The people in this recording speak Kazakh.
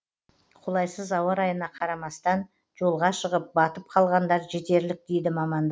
қолайсыз ауа райына қарамастан жолға шығып батып қалғандар жетерлік дейді мамандар